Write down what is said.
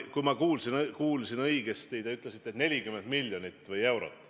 Kui ma kuulsin õigesti, te ütlesite, et 40 miljonit eurot.